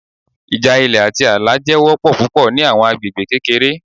Ija ilẹ ati aala jẹ wọpọ pupọ ni awọn agbegbe kekere